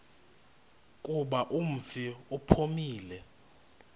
kuba umfi uphumile